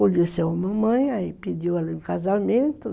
Conheceu a mamãe, aí pediu ela em casamento.